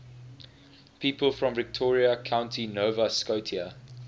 people from victoria county nova scotia